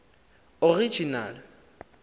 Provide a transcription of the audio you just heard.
original